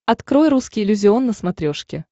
открой русский иллюзион на смотрешке